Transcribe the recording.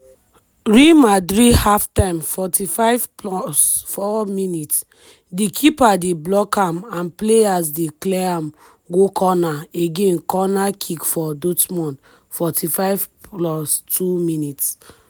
real madrid half-time 45+4mins- di keeper dey block am and players dey clear am go corner again corner kick for dortmund 45+2mins-